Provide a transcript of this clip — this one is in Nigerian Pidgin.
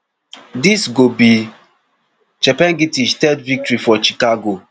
dis go be chepengetich third victory for chicago